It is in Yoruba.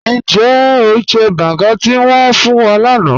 Níjẹ́ o jẹ́ bángá tí wọn fún wà láńà?